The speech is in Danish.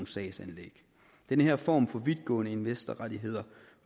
sagsanlæg den her form for vidtgående investorrettigheder